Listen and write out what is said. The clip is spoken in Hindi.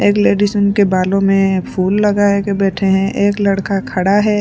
एक लेडीज उनके बालों में फूल लगाए के बैठे हैं एक लड़का खड़ा है।